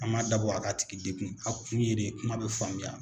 An m'a dabɔ a k'a tigi degun, a kun ye de kuma bɛ faamuya